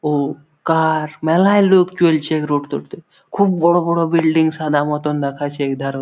ও কা-আ-র মেলায় লোক চলছে খুব বড় বড় বিল্ডিং সাদা মতন দেখাচ্ছে এধার ও--